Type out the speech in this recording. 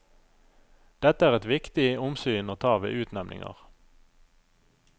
Dette er eit viktig omsyn å ta ved utnemningar.